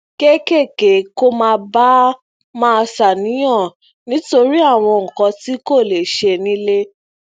kéékèèké kó má bàa máa ṣàníyàn nítorí àwọn nǹkan tí kò lè ṣẹ nile